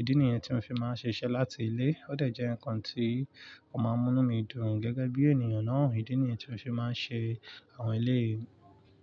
Ídí nìyẹn tí mo fi máa ń ṣiṣẹ́ láti ilé. Ó de jẹ́ nǹkan tí ó máa ń mú inu mí dùn gẹ́gẹ́ bí ènìyàn náà. Ídí nìyẹn tí mo fi máa ń ṣe àwọn eleyìí.